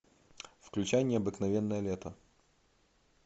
включай необыкновенное лето